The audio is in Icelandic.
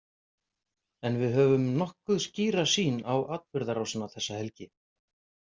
En við höfum nokkuð skýra sýn á atburðarásina þessa helgi.